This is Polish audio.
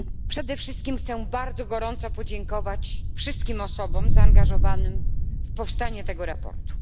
Przede wszystkim chcę bardzo gorąco podziękować wszystkim osobom zaangażowanym w powstanie tego sprawozdania.